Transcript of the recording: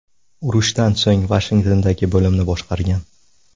Urushdan so‘ng Vashingtondagi bo‘limni boshqargan.